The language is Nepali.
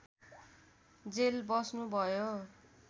जेल बस्नुभयो